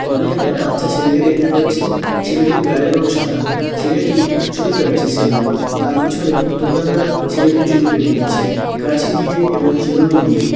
আমি একটা বাচ্চা ছেলেকে দেখতে পাচ্ছি । ছেলেটির গায়ের রং সাদা। ছেলেটি চুল কাটছে সেলুনে । তার পিছনে দোকানদার ছেলেটির চুল কেটে দিচ্ছে। কাচি দিয়ে এবং চিরুনি দিয়ে।